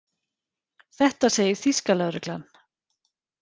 Þetta segir þýska lögreglan